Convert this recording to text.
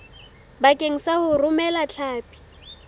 bakeng sa ho romela hlapi